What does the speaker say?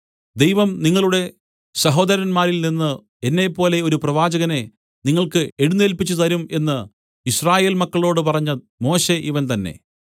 ദൈവം നിങ്ങളുടെ സഹോദരന്മാരിൽനിന്ന് എന്നെപ്പോലെ ഒരു പ്രവാചകനെ നിങ്ങൾക്ക് എഴുന്നേല്പിച്ചുതരും എന്ന് യിസ്രായേൽ മക്കളോടു പറഞ്ഞ മോശെ ഇവൻ തന്നേ